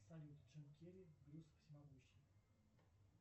салют джим керри брюс всемогущий